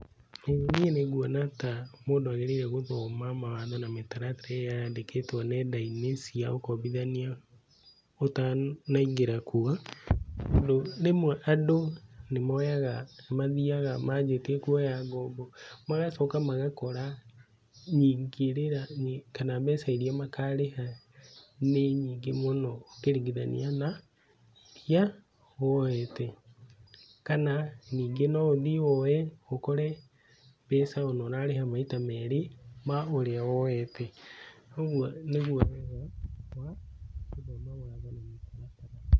Ĩĩ niĩ nĩ ngũona ta mũndũ agĩrĩire gũthoma mawatho na mĩtaratara ĩrĩa yandĩkĩtwo ng'endainĩ cia ũkombithania ũtanaĩngĩra kũo tondũ rĩmwe andũ nĩ moyaga nĩ mathĩaga mabĩtie kũoya ngombo magacoka magakora kana mbeca irĩa makarĩha nĩ nyingĩ mũno ũkĩrĩngithanĩa na irĩa woete kana ningĩ no ũthiĩ woe mbeca ũkore ona ũrarĩha maita merĩ ma ũrĩa woete kwoguo nĩguo.